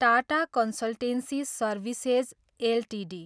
Tata consultancy services Ltd